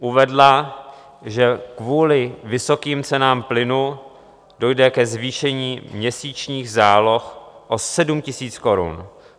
Uvedla, že kvůli vysokým cenám plynu dojde ke zvýšení měsíčních záloh o 7 000 korun.